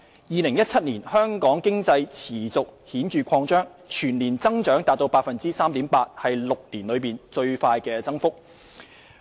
2017年，香港經濟持續顯著擴張，全年增長達 3.8%， 是6年來最大增幅。